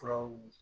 Furaw